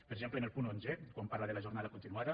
per exemple en el punt onze quan parla de la jornada continuada